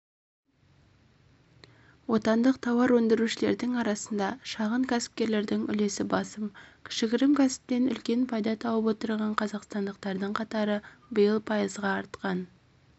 отандық тауар өндірушілердің арасында шағын кәсіпкерлердің үлесі басым кішігірім кәсіптен үлкен пайда тауып отырған қазақстандықтардың қатары биыл пайызға артқан